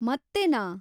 ಮತ್ತೆನಾ?